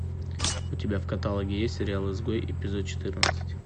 у тебя в каталоге есть сериал изгой эпизод четырнадцать